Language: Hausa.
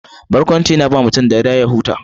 Barkwanci yana bawa mutum dariya ya huta.